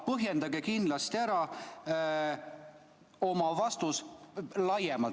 Põhjendage kindlasti ära oma vastus laiemalt.